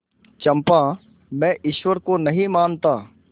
चंपा मैं ईश्वर को नहीं मानता